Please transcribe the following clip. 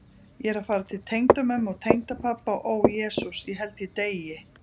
Ég er að fara til tengdamömmu og tengdapabba og ó Jesús, ég held ég deyi.